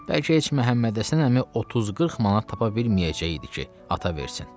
Bəlkə heç Məhəmmədhəsən əmi 30-40 manat tapa bilməyəcəkdi ki, ata versin.